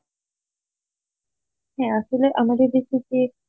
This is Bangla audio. হ্যাঁ আসলে আমাদের দেশে যে,